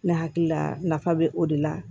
Ne hakili la nafa bɛ o de la